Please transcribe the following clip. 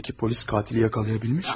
Bəs polis qatili tuta bilibmi?